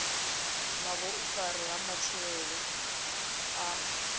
na vhuifari ha matshilele a